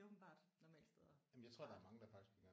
Det er åbenbart normalt at starte